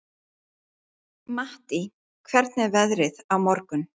Mattý, hvernig er veðrið á morgun?